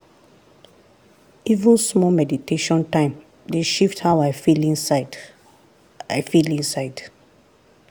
even small meditation time dey shift how i feel inside. i feel inside.